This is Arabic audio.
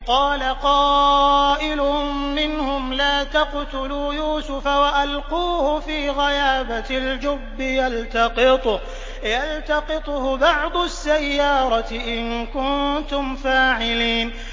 قَالَ قَائِلٌ مِّنْهُمْ لَا تَقْتُلُوا يُوسُفَ وَأَلْقُوهُ فِي غَيَابَتِ الْجُبِّ يَلْتَقِطْهُ بَعْضُ السَّيَّارَةِ إِن كُنتُمْ فَاعِلِينَ